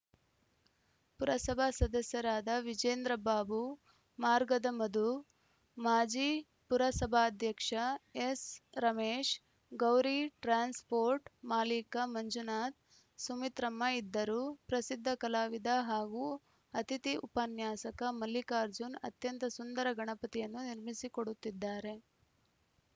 ಪುರಸಭಾ ಸದಸ್ಯರಾದ ವಿಜೇಂದ್ರಬಾಬು ಮಾರ್ಗದ ಮಧು ಮಾಜಿ ಪುರಸಭಾಧ್ಯಕ್ಷ ಎಸ್‌ರಮೇಶ್‌ ಗೌರಿ ಟ್ರಾನ್ಸ್‌ಪೋರ್ಟ್‌ ಮಾಲಿಕ ಮಂಜುನಾಥ್‌ ಸುಮಿತ್ರಮ್ಮ ಇದ್ದರು ಪ್ರಸಿದ್ಧ ಕಲಾವಿದ ಹಾಗೂ ಅತಿಥಿ ಉಪನ್ಯಾಸಕ ಮಲ್ಲಿಕಾರ್ಜುನ್‌ ಅತ್ಯಂತ ಸುಂದರ ಗಣಪತಿಯನ್ನು ನಿರ್ಮಿಸಿಕೊಡುತ್ತಿದ್ದಾರೆ